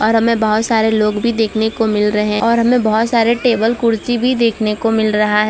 और हमें बहोत सारे लोग भी देखने को मिल रहे हैं और हमें बहोत सारे टेबल कुर्सी भी देखने को मिल रहा है।